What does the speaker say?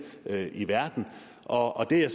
i verden og det er